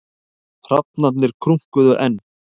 Hrafnarnir krunkuðu enn.